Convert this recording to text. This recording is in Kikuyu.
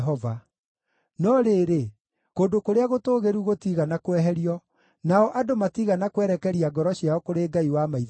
No rĩrĩ, kũndũ kũrĩa gũtũũgĩru gũtiigana kweherio, nao andũ matiigana kwerekeria ngoro ciao kũrĩ Ngai wa maithe mao.